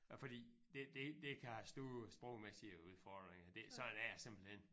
Fordi det det det kan have store sprogmæssige udfordringer det sådan er det simpelthen